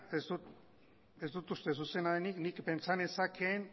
ez dut uste zuzena denik nik pentsa nezakeen